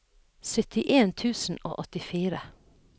syttien tusen og åttifire